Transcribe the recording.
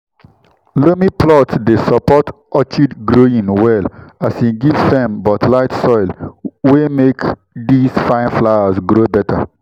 loamy plot dey support orchid growing well as e give firm but light soil wey make these fine flowers grow better.